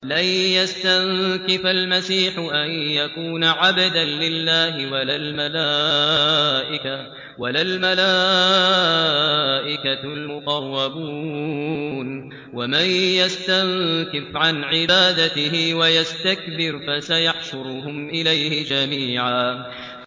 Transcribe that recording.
لَّن يَسْتَنكِفَ الْمَسِيحُ أَن يَكُونَ عَبْدًا لِّلَّهِ وَلَا الْمَلَائِكَةُ الْمُقَرَّبُونَ ۚ وَمَن يَسْتَنكِفْ عَنْ عِبَادَتِهِ وَيَسْتَكْبِرْ فَسَيَحْشُرُهُمْ إِلَيْهِ جَمِيعًا